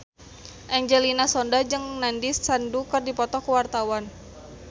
Angelina Sondakh jeung Nandish Sandhu keur dipoto ku wartawan